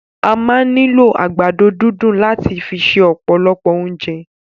A máa ni lo àgbàdo dundun lat fi se ọpọlọ ounjẹ.